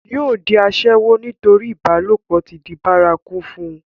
yóò di asẹ́wó nítorí ìbálòpọ̀ ti di bárakú fún un